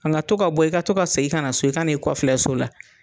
nka to ka bɔ i ka to ka segin kana so i kan'i kɔfilɛ so la.